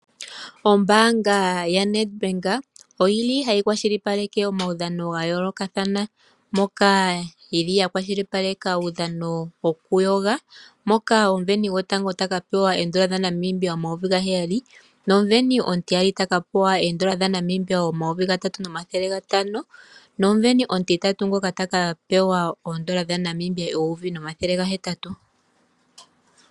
Ombaanga yaNedbank oyi li hayi kwashilipaleke omaudhano ga yoolokathana moka yi li ya kwashilipaleka uudhano wokuyoga moka omusindani gotango ta ka pewa 00N$ 7000 nomusindani omutiyali ta ka pewa ooN$ 3500 nomusindani omutitatu ngoka ta ka pewa ooN$ 1800.